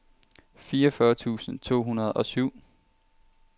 fireogfyrre tusind to hundrede og syv